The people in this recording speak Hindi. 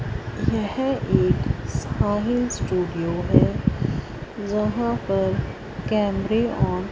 यह एक साहिल स्टूडियो है जहां पर कैमरे ऑन --